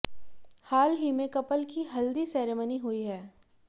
हाल ही में कपल की हल्दी सेरेमनी हुई है